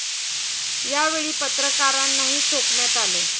या वेळी पत्रकारांनाही चोपण्यात आले.